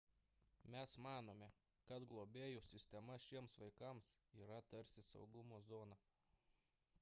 mes manome kad globėjų sistema šiems vaikams yra tarsi saugumo zona